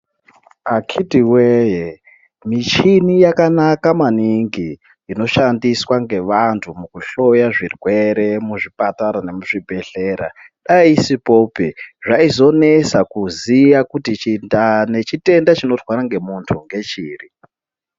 Akhitiwee michini yakanaka maningi inoshandiswa ngevantu mukuhloya zvirwere muzvipatara nemuzvibhedhlera. Dai isipopi zvaizonetsa kuziye kuti ndaa nechitenda chinorwara ngemuntu ngechiri.